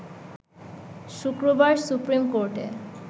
শুক্রবার সুপ্রিম কোর্টে